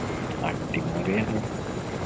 അട്ടിമപറയാണ്